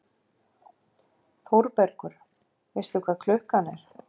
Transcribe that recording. ÞÓRBERGUR: Veistu hvað klukkan er?